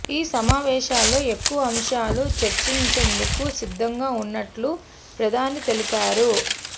ఈ సమావేశాల్లో ఎక్కువ అంశాలు చర్చించేందుకు సిద్ధంగా ఉన్నట్టు ప్రధాని తెలిపారు